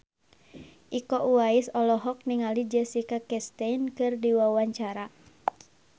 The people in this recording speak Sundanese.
Iko Uwais olohok ningali Jessica Chastain keur diwawancara